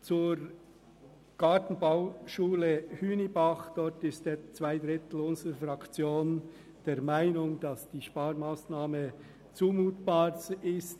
Zur Gartenbauschule Hünibach: Zwei Drittel unserer Fraktion sind der Meinung, dass die Sparmassnahme zumutbar ist.